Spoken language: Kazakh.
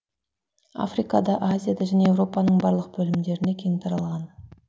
африкада азияда және еуропаның барлық бөлімдерінде кең таралған